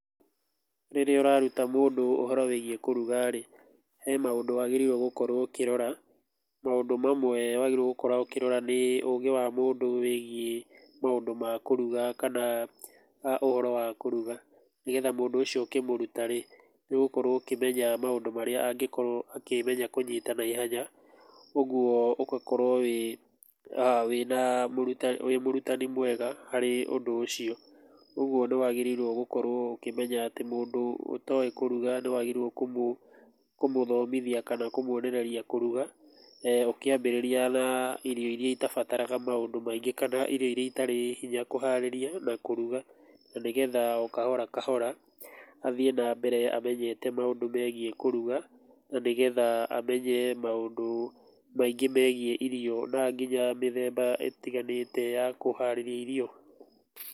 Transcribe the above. Rĩrĩa ũraruta mũndũ ũhoro wĩgiĩ kũruga rĩ, he maũndũ wagĩrĩirwo gũkorwo ũkĩrora. Maũndũ mamwe wagĩrĩirwo gũkorwo ũkĩrora; nĩ ũgĩ wa mũndũ wĩgiĩ maũndũ ma kũruga kana ũhoro wa kũruga, nĩgetha mũndũ ũcio ũkĩmũruta-rĩ nĩũgũkorwo ũkĩmenya maũndũ marĩa angĩkorwo akĩmenya kũnyita na ihenya, ũguo ũgakorwo wĩ mũrutani mwega harĩ ũndũ ũcio. Ũguo nĩwagĩrĩirwo kũmenya atĩ mũndũ ũtoĩ kũruga nĩwagĩrĩirwo nĩ kũmũthomithia kana kũmuonereria kũruga, ũkĩambĩrĩria na irio iria itabataraga maũndũ maingĩ, kana irio irĩa itarĩ hinya kũharĩria na kũruga, na nĩgetha o kahora kahora athiĩ na mbere amenyete maũndũ megie kũruga, na nĩgetha amenye maũndũ maingĩ megiĩ irio na nginya mĩthemba ĩtiganĩte ya kũharĩria irio.